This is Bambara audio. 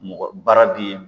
Mɔgɔ baara di